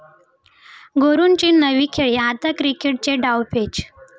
गुरूची नवी खेळी, आता क्रिकेटचे डावपेच!